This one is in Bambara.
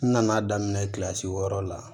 N nana daminɛ kilasi wɔɔrɔ la